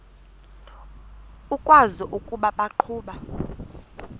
ukwazi ukuba baqhuba